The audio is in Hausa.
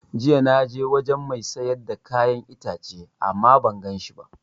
Jiya na je wajen mai siyar da kayan itace ama ban ganshi ba